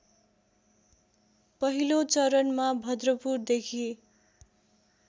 पहिलो चरणमा भद्रपुरदेखि